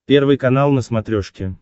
первый канал на смотрешке